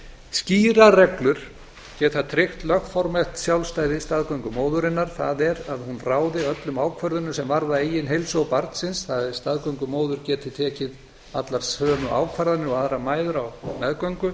skýrar reglur geta tryggt lögformlegt sjálfstæði staðgöngumóðurinnar það er að hún ráði öllum ákvörðunum sem varða eigin heilsu og barnsins það er að staðgöngumóðir geti tekið allar sömu ákvarðanir og aðrar mæður á meðgöngu